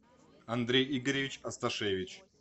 андрей игоревич асташевич